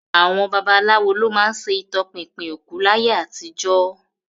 Àwọn babaláwo ló má ń ṣe ìtọpinpin òkú láyé àtijó